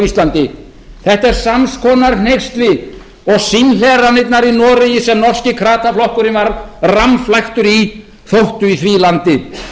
íslandi þetta er sams konar hneyksli og símhleranirnar í noregi sem norski krataflokkurinn var rammflæktur í þóttu í því landi